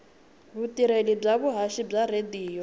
vutirheli bya vuhaxi bya tiradiyo